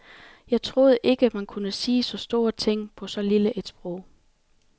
Jeg troede ikke, man kunne sige så store ting på så lille et sprog.